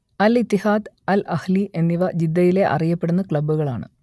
അൽ Ittihad Al Ahli എന്നിവ ജിദ്ദയിലെ അറിയപ്പെടുന്ന ക്ലബ്ബുകളാണ്